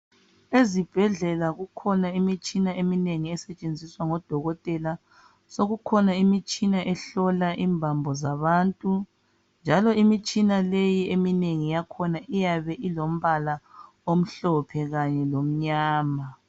Ezibhedlela kukhona imitshina eminengi esetshenziswa ngodokotela. Sekukhona imitshina ehlola imbambo zabantu. Njalo imitshina leyi eminengi yakhona iyabe ilombala omhlophe kanye lomnyama.